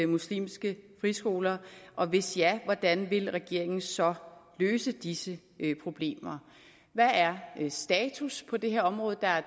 muslimske friskoler og hvis ja hvordan vil regeringen så løse disse problemer hvad er status på det her område der